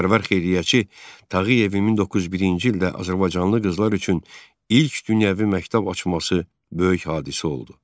Vətənpərvər xeyriyyəçi Tağıyevin 1901-ci ildə azərbaycanlı qızlar üçün ilk dünyəvi məktəb açması böyük hadisə oldu.